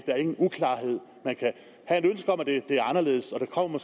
er ingen uklarhed man kan have et ønske om at det var anderledes og der kommer